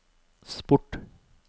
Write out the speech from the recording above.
sport